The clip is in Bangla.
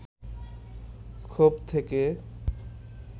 ক্ষোভ থেকে